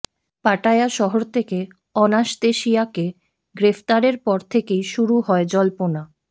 Pattaya শহর থেকে অনাসতেসিয়াকে গ্রেফতারের পর থেকেই শুরু হয় জল্পনা